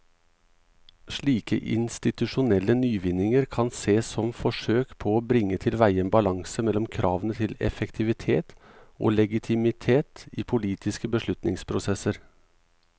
Slike institusjonelle nyvinninger kan sees som forsøk på å bringe tilveie en balanse mellom kravene til effektivitet og legitimitet i politiske beslutningsprosesser.